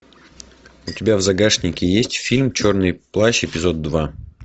у тебя в загашнике есть фильм черный плащ эпизод два